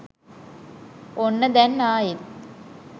ඔන්න දැන් ආයෙත්